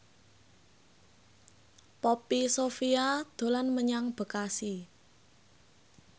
Poppy Sovia dolan menyang Bekasi